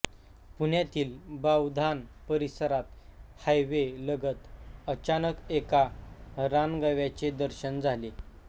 पुण्यातील बावधान परिसरात हायवे लगत अचानक एका रानगव्याचे दर्शन झाले